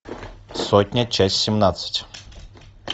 сотня часть семнадцать